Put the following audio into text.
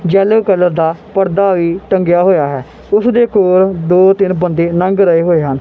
Yellow colour ਦਾ ਪਰਦਾ ਵੀ ਟੰਗਿਆ ਹੋਇਆ ਹੈ ਓਸਦੇ ਕੋਲ ਦੋ ਤਿੰਨ ਬੰਦੇ ਲੰਘ ਰਹੇ ਹੋਏ ਹਨ।